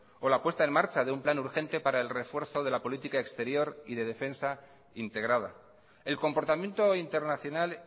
o la puesta en marcha de un plan urgente para el refuerzo de la política exterior y de defensa integrada el comportamiento internacional